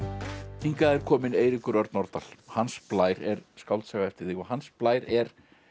hingað er kominn Eiríkur Örn Norðdahl hans Blær er skáldsaga eftir þig og Hans Blær er